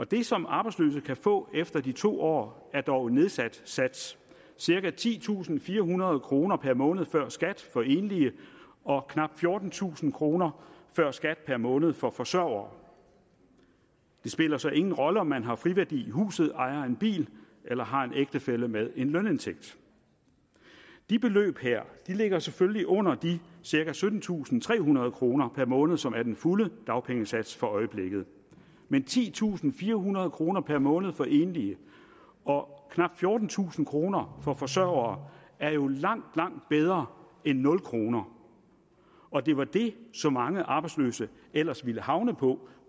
det som arbejdsløse kan få efter de to år er dog en nedsat sats cirka titusinde og firehundrede kroner per måned før skat for enlige og knap fjortentusind kroner før skat per måned for forsørgere det spiller så ingen rolle om man har friværdi i huset ejer en bil eller har en ægtefælle med en lønindtægt de beløb her ligger selvfølgelig under de cirka syttentusinde og trehundrede kroner per måned som er den fulde dagpengesats for øjeblikket men titusinde firehundrede kroner per måned for enlige og knap fjortentusind kroner for forsørgere er jo langt langt bedre end nul kroner og det var det som mange arbejdsløse ellers ville havne på